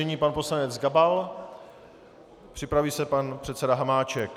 Nyní pan poslanec Gabal, připraví se pan předseda Hamáček.